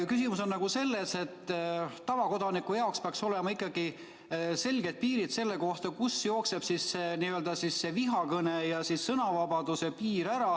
Küsimus on selles, et tavakodaniku jaoks peaks olema ikkagi selge, kust jookseb vihakõne ja sõnavabaduse piir.